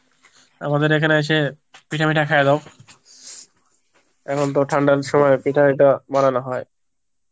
আমাদের এখানে এসে পিঠা ফিঠা খেয়ে যাও, এখন তো ঠান্ডার সময় পিঠে ফিঠে বানানো হয়